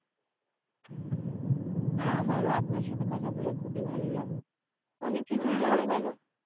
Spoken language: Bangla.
হ্যা আমার ও আপনার সাথে কথা বলে খুবই ভালো লাগলো অনেক কিছু জানা গেলো.